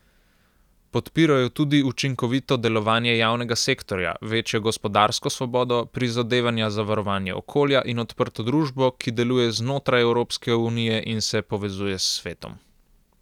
Podpirajo tudi učinkovito delovanje javnega sektorja, večjo gospodarsko svobodo, prizadevanja za varovanje okolja in odprto družbo, ki deluje znotraj Evropske unije in se povezuje s svetom.